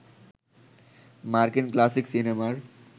মার্কিন ক্লাসিক সিনেমার